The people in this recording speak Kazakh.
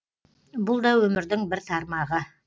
бұл да өмірдің бір тармағы